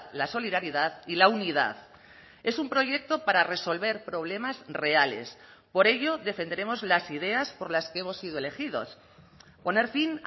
la solidaridad y la unidad es un proyecto para resolver problemas reales por ello defenderemos las ideas por las que hemos sido elegidos poner fin